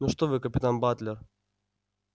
ну что вы капитан батлер